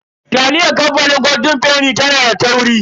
Taliyar kamfanin golden fenny tana da tauri.